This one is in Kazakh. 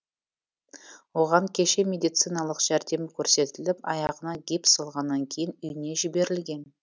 оған кеше медициналық жәрдем көрсетіліп аяғына гипс салғаннан кейін үйіне жіберілген